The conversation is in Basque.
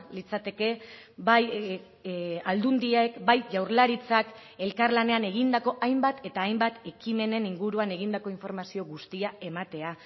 litzateke bai aldundiek bai jaurlaritzak elkarlanean egindako hainbat eta hainbat ekimenen inguruan egindako informazio guztia ematea